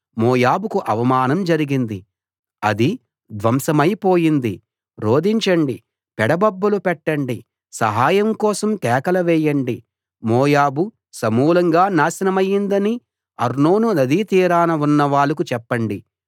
మోయాబుకు అవమానం జరిగింది అది ధ్వంసమై పోయింది రోదించండి పెడబొబ్బలు పెట్టండి సహాయం కోసం కేకలు వేయండి మోయాబు సమూలంగా నాశనమైందని అర్నోను నదీ తీరాన ఉన్న వాళ్లకు చెప్పండి